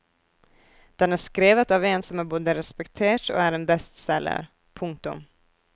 Den er skrevet av en som er både respektert og er en bestselger. punktum